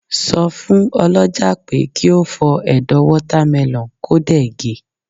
so fun olójà pe ki o fó Edo watermelon ko dẹ̀ ge